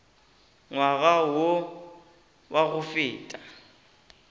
ngwaga wo wa go feta